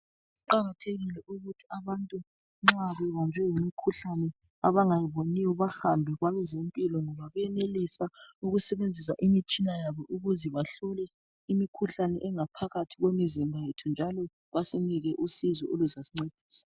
Kuqakathekile ukuthi abantu nxa bebanjwe yimikhuhlane abangayiboniyo bahambe kwabe zempilo ngoba benelise ukusebenzisa imitshina yabo ukuze bahlole imikhuhlane engaphakathi kwemizimba yethu njalo basinike usizo oluzasincedisa.